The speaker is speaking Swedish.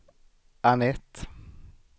Annette